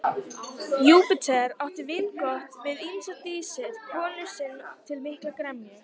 Júpíter átti vingott við ýmsar dísir konu sinni til mikillar gremju.